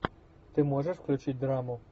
ты можешь включить драму